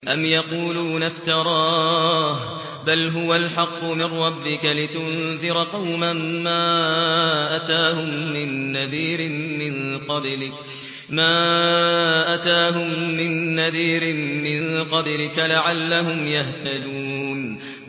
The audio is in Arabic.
أَمْ يَقُولُونَ افْتَرَاهُ ۚ بَلْ هُوَ الْحَقُّ مِن رَّبِّكَ لِتُنذِرَ قَوْمًا مَّا أَتَاهُم مِّن نَّذِيرٍ مِّن قَبْلِكَ لَعَلَّهُمْ يَهْتَدُونَ